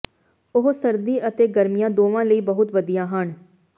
ਉਹ ਸਰਦੀ ਅਤੇ ਗਰਮੀਆਂ ਦੋਵਾਂ ਲਈ ਬਹੁਤ ਵਧੀਆ ਹਨ